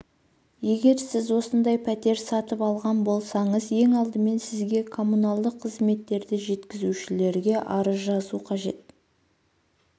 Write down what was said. егер сіз осындай пәтер сатып алған болсаңыз ең алдымен сізге коммуналдық қызметтерді жеткізушілерге арыз жазу қажет